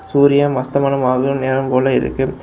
சூரியன் அஸ்தமனம் ஆகுற நேரம் போல இருக்கு.